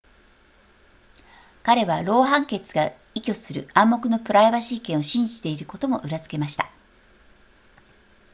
彼はロー判決が依拠する暗黙のプライバシー権を信じていることも裏付けました